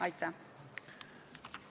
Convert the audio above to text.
Aitäh!